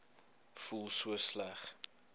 voel so sleg